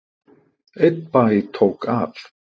Einn bæ tók af.